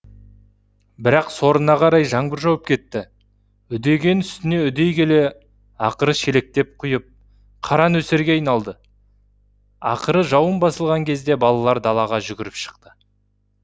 бірақ сорына қарай жаңбыр жауып кетті үдеген үстіне үдей келе ақыры шелектеп құйып қара нөсерге айналды ақыры жауын басылған кезде балалар далаға жүгіріп шықты